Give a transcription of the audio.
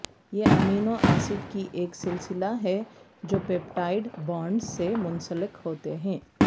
یہ amino acid کی ایک سلسلہ ہے جو پیپٹائڈ بانڈز سے منسلک ہوتے ہیں